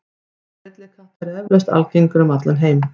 Hópar villikatta eru eflaust algengir um allan heim.